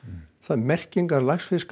merkingar